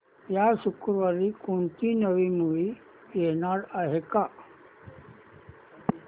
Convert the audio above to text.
या शुक्रवारी कोणती नवी मूवी येणार आहे का